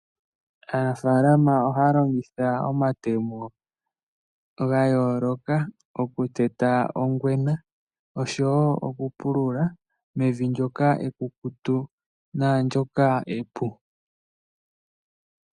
Aanafaalama ohaya longitha omatemo ga yooloka okuteta ongwena oshowo okupulula mevi ndyoka ekukutu naandyoka epu.